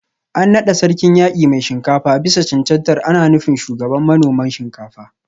An nada Sarkin Yaki Mai Shinkafa bisa cancantar ana nufin Shugaban manoman Shinkafa